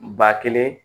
Ba kelen